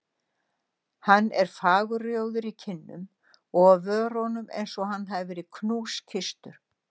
Hann er fagurrjóður í kinnum og á vörunum einsog hann hafi verið knúskysstur.